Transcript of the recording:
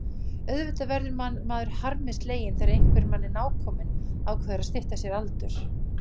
Auðvitað verður maður harmi sleginn þegar einhver manni nákominn ákveður að stytta sér aldur.